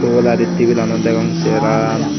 ubaladi tibil lanot degong seran